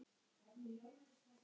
Nú, eða hátt metin.